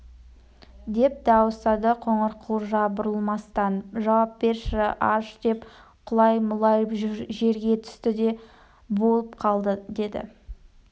деп дауыстады қоңырқұлжа бұрылмастан жауап берді аш деп құлай-мұлай жерге түсті не болып қалды деді